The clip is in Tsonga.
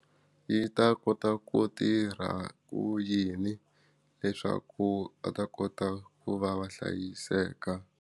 Yi ta kota ku tirha ku yini leswaku a ta kota ku va va hlayiseka.